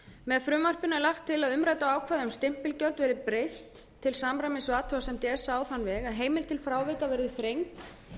með frumvarpinu er lagt til að umræddu ákvæði um stimpilgjöld verði breytt til samræmis við athugasemd esa á þann veg að heimild til frávika verði þrengd